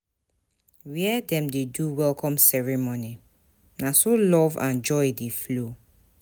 Where dem dey do welcome ceremony, na so love and joy dey flow.